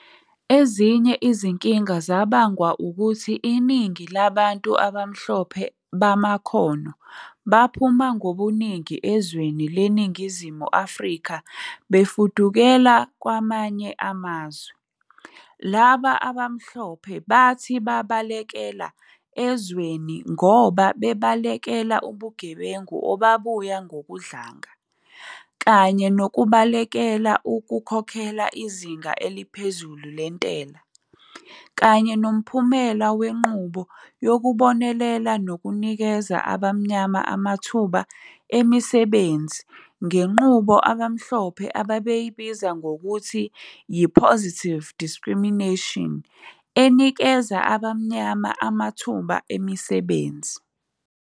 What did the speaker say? Ezinye izinkinga zabangwa ukuthi iningi labantu abamhlophe bamakhono, baphuma ngobuningi ezweni leNingizimu Afrika befudukela kwamanye amazwe, laba bamhlophe bathi babaleka ezweni ngoba bebalekela ubugebengu obabuya ngokudlanga, kanye nokubalekela ukukhokhela izinga eliphezulu lentela, kanye nomphumela wenqubo yokubonelela nokunikeza abamnyama amathuba emisebenzini ngenqubo abamhlophe ababeyibiza ngokuthi yi-positive discrimination enikeza abamnyama amathuba emmisebenzi.